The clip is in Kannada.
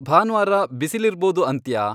ಭಾನ್ವಾರ ಬಿಸಿಲಿರ್ಬೋದು ಅಂತ್ಯಾ